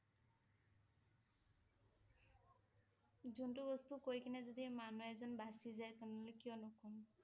জুণ্টো বস্তু কৈ কেনে যদি মানুহ এজন বাছি যায় তেনেহলে কিয় নকম?